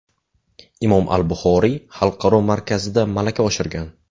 Imom al-Buxoriy xalqaro markazida malaka oshirgan.